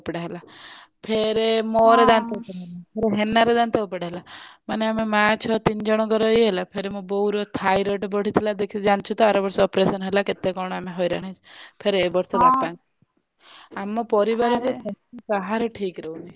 ଦାନ୍ତ ଉପୁଡା ହେଲା ଫେରେ ମୋର ଦାନ୍ତ ଉପୁଡା ହେଲା ଫେରେ ହେନାର ଦାନ୍ତ ଉପୁଡା ହେଲା ମାନେ ଆମ ମା ଝିଅ ତିନି ଜଣଙ୍କର ଇଏ ହେଲା ଫେରେ ମୋ ବୋଉର ଥାଇରେଡ ବଡିଥିଲା ଦେଖିଚୁଜାଣିଛୁ ତ ଆର ବର୍ଷ operation ହେଲା ଆମେ କେତେ କଣ ଆମେ ହଇରାଣ ହେଇଛୁ ଫେରେ ଏଇ ବର୍ଷ ବାପାଙ୍କର ଆମ ପରିବାରରେ ଦେହ କାହାରି ଠିକ ରହୁନି।